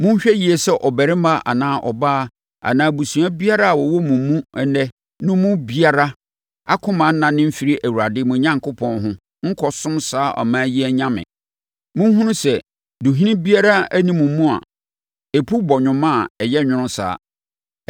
Monhwɛ yie sɛ ɔbarima anaa ɔbaa anaa abusua biara a wɔwɔ mo mu ɛnnɛ no mu biara akoma rennane mfiri Awurade, mo Onyankopɔn, ho nkɔsom saa aman yi anyame; monhunu sɛ, duhini biara nni mo mu a ɛpu bɔnwoma a ɛyɛ nwono saa.